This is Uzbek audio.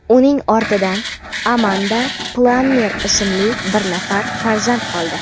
Uning ortidan Amanda Plammer ismli bir nafar farzand qoldi.